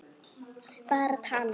Bara tal.